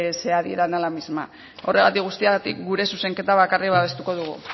sea adhieran la misma horregatik guztiak gure zuzenketa bakarrik babestuko dugu